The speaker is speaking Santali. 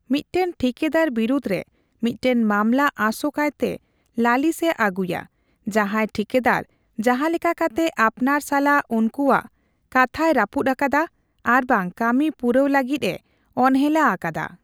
ᱢᱤᱫᱴᱟᱝ ᱴᱷᱤᱠᱟᱹᱫᱟᱨ ᱵᱤᱨᱩᱫ ᱨᱮ ᱢᱤᱫᱴᱟᱝ ᱢᱟᱢᱞᱟ ᱟᱥᱳᱠᱟᱭᱛᱮ ᱞᱟᱹᱞᱤᱥ ᱮ ᱟᱜᱩᱭᱟ ᱡᱟᱦᱟᱸᱭ ᱴᱷᱤᱠᱟᱹᱫᱟᱨ ᱡᱟᱦᱟᱞᱮᱠᱟ ᱠᱟᱛᱮ ᱟᱯᱱᱟᱨ ᱥᱟᱞᱟᱜ ᱩᱱᱠᱩᱣᱟᱜ ᱠᱟᱛᱦᱟᱭᱨᱟᱹᱯᱩᱫ ᱟᱠᱟᱫᱟ ᱟᱨᱵᱟᱝ ᱠᱟᱹᱢᱤ ᱯᱩᱨᱟᱣ ᱞᱟᱹᱜᱤᱫ ᱮ ᱚᱱᱦᱮᱞᱟ ᱟᱠᱟᱫᱟ ᱾